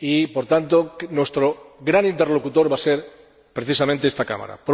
Por tanto, nuestro gran interlocutor va a ser precisamente esta Cámara.